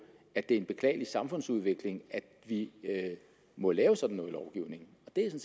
at det er en beklagelig samfundsudvikling at vi må lave sådan noget lovgivning og det